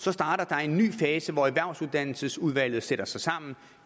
så starter en ny fase hvor erhvervsuddannelsesudvalget sætter sig sammen